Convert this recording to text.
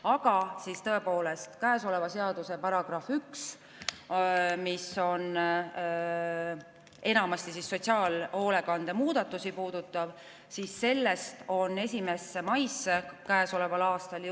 Aga tõepoolest, seaduse §‑st 1, mis enamasti puudutab sotsiaalhoolekande muudatusi, osa punkte jõustub 1. mail käesoleval aastal.